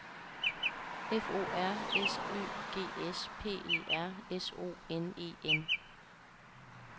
F O R S Ø G S P E R S O N E N